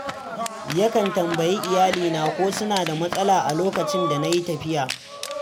Yakan tambayi iyalina ko suna da matsala a lokacin da na yi tafiya.